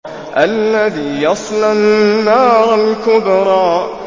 الَّذِي يَصْلَى النَّارَ الْكُبْرَىٰ